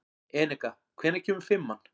Eneka, hvenær kemur fimman?